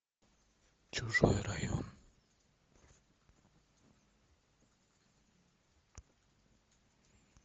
чужой район